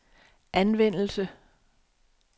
anvendelse